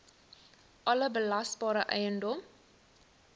alle belasbare eiendom